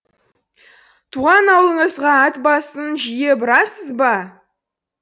туған аулыңызға ат басын жиі бұрасыз ба